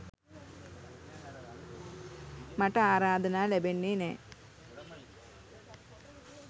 මට ආරාධනා ලැබෙන්නෙ නෑ.